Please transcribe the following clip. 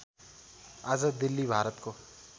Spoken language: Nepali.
आज दिल्ली भारतको